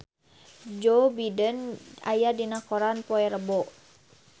Joe Biden aya dina koran poe Rebo